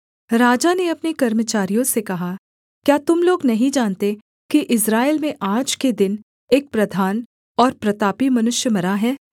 राजा ने अपने कर्मचारियों से कहा क्या तुम लोग नहीं जानते कि इस्राएल में आज के दिन एक प्रधान और प्रतापी मनुष्य मरा है